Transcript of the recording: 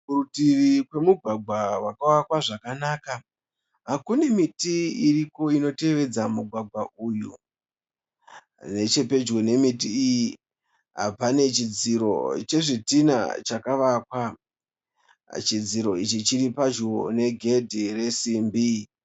Parutivi pemugwagwa wakavakwa zvakanaka. Kune miti iriko inotevedza migwagwa uyu. Nechepedyo nemiti iyi pane chidziro chezvidhinha chakavakwa. Chidziri ichi chiri padyo ne gedhe resimbi.